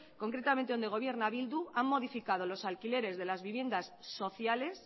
concretamente donde gobierna bildu han modificado los alquileres de las viviendas sociales